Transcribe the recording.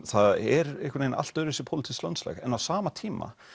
það er einhvern vegin allt öðruvísi pólitískt landslag en á sama tíma